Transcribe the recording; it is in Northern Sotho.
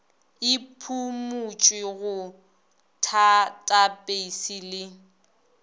e phumutšwe go tathapeisi le